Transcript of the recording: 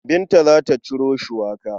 Binta za ta ciro shuwaka.